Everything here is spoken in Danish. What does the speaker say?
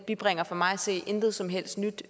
bibringer for mig at se intet som helst nyt